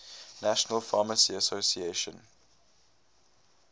national pharmacy association